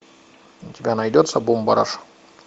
у тебя найдется бумбараш